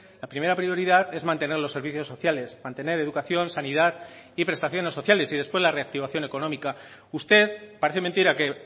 la primera prioridad es mantener los servicios sociales mantener educación sanidad y prestaciones sociales y después la reactivación económica usted parece mentira que